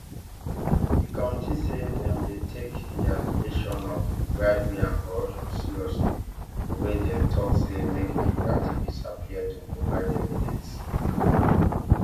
di committee say dem dey take di allegation of bribery and corruption seriously wia dem tok say make di activist appear to provide evidence